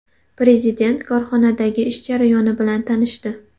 Prezident korxonadagi ish jarayoni bilan tanishdi.